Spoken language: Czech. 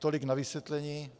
Tolik na vysvětlení.